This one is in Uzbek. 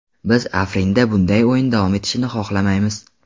Biz Afrinda bunday o‘yin davom etishini xohlamaymiz.